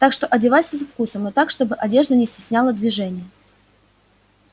так что одевайся со вкусом но так чтобы одежда не стесняла движение